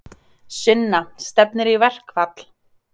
Sunna: Stefnir í verkfall?